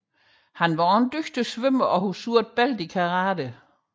Han var også en dygtig svømmer og havde sort bælte i karate